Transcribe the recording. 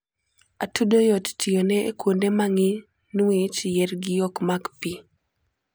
atudo yot tiyone e kuonde mangih niwch yiergi okmak pii